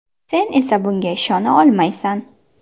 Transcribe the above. Sen esa bunga ishona olmaysan.